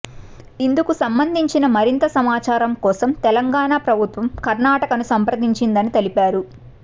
ఇందుకు సంబంధించిన మరింత సమాచారం కోసం తెలంగాణ ప్రభుత్వం కర్ణాటకనను సంపద్రించిందని తెలిపారు